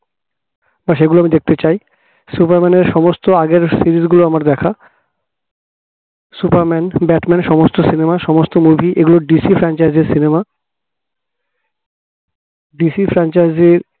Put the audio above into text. সেগুলো আমি দেখতে চাই superman র আগের সমস্ত আগের series গুলো আমার দেখা superman, batman সমস্ত cinema সমস্ত movie এগুলো DC franchise cinema DC franchise